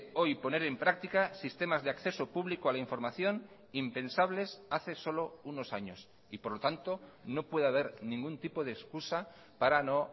hoy poner en práctica sistemas de acceso público a la información impensables hace solo unos años y por lo tanto no puede haber ningún tipo de excusa para no